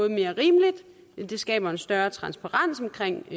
mere rimeligt det skaber en større transparens omkring